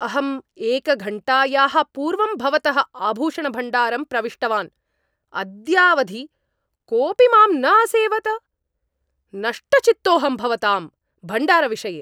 अहं एकघण्टायाः पूर्वं भवतः आभूषणभण्डारं प्रविष्टवान्, अद्यावधि कोऽपि माम् न असेवत। नष्टचित्तोऽहं भवतां भण्डारविषये।